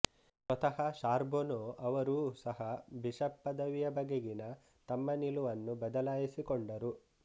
ಸ್ವತಃ ಶಾರ್ಬೊನೊ ಅವರೂ ಸಹ ಬಿಷಪ್ ಪದವಿಯ ಬಗೆಗಿನ ತಮ್ಮ ನಿಲುವನ್ನು ಬದಲಾಯಿಸಿಕೊಂಡರು